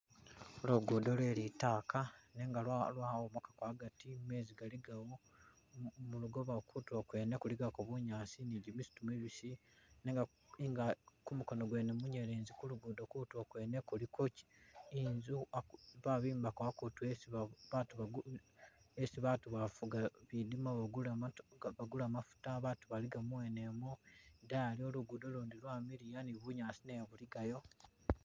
Lugudo lwelitaka nenga lwahomokamo hagati meezi galigawo mulugoba kutulo kwene kuligako bunyasi ni gimisitu mibisi nenga kumukono gwene munyelezi kulugudo kwene kutilo kuliko inzu babimbako hakutu hesi baatu bavuga bidima bagula mafuuta baatu baliga muwenemo idayiyo lugudo lundi lwamiliya nibunyasi nayo buligayo.